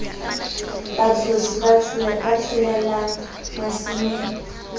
batshosi ba tsohellang masimong esale